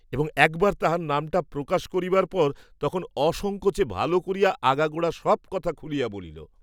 এবং একবার তাহার নামটা প্রকাশ করিবার পর তখন অসঙ্কোচে ভাল করিয়া আগাগোড়া সব কথা খুলিয়া বলিল।